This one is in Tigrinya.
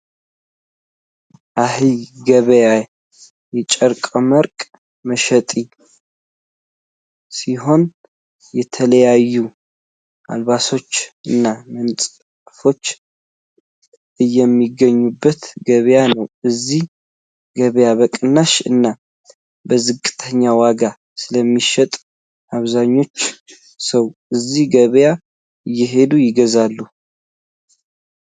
አሄ ገባያ የጨርቃመርቅ መሸጪ ሲሆን የተለያዩ ኣልባሳቶች እና መንፀፎች እየሚገኙበት ገበያ ነው። እዚ ገበያ በቅናሽ እና በዝቅተኛ ዋጋ ስለሚሸጡ ኣብዛኛው ሰው እዚ ገበያ እየሄደ ይገዛል።